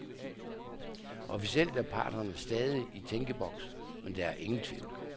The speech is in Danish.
Officielt er parterne stadig i tænkeboks, men der er ingen tvivl.